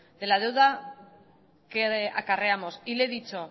de la deuda que acarreamos y le he dicho